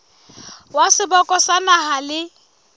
wa seboka sa naha le